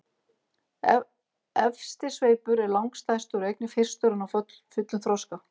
Efsti sveipur er langstærstur og einnig fyrstur að ná fullum þroska.